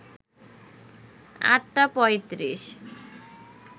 ৮টা ৩৫